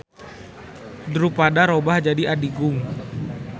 Drupada robah jadi adigung.